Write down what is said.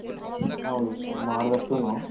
ಹೌದು ಮಾದ್ದಷ್ಟನು